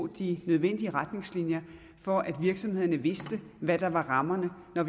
de nødvendige retningslinjer for at virksomhederne ved hvad der er rammerne når